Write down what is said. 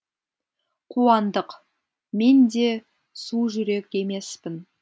қуандық мен де су жүрек емеспін